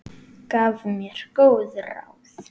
Gaf mér góð ráð.